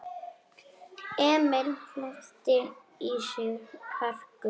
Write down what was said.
Emil hleypti í sig hörku.